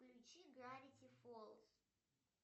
включи гравити фолз